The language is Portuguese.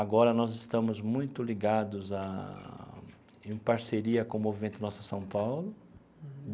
Agora nós estamos muito ligados a em parceria com o Movimento Nossa São Paulo.